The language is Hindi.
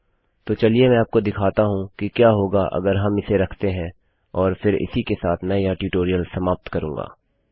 तो चलिए मैं आपको दिखाता हूँ कि क्या होगा अगर हम इसे रखते है और फिर इसी के साथ मैं यह ट्यूटोरियल समाप्त करुँगा